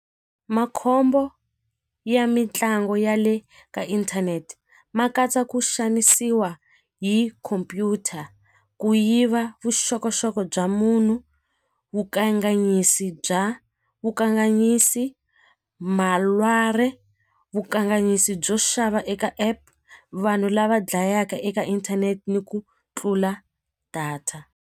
Makhombo ya mitlangu ya le ka inthanete ma katsa ku xanisiwa hi khompyuta ku yiva vuxokoxoko bya munhu wu bya vukanganyisi vukanganyisi byo xava eka app vanhu lava dlayaka eka inthanete ni ku tlula data.